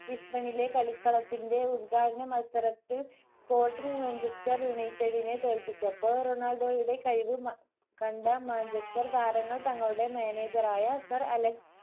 ഇസ്ബണിലെ കളിക്കളത്തിന്റെ ഉൽഘാടന മത്സരത്തിൽ spottingmanchester united നെ തോല്പിച്ചപ്പോൾ റൊണാൾഡോയുടെ കഴിവ് കണ്ട മാഞ്ചസ്റ്റർ താരങ്ങൾ തങ്ങളുടെ മാനേജർ ആയ സർ അലക്സ്